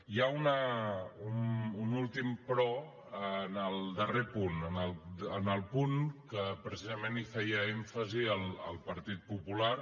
hi ha un últim però en el darrer punt en el punt que precisament feia èmfasi el partit popular